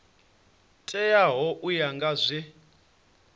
teaho u ya nga zwe